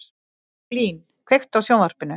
Blín, kveiktu á sjónvarpinu.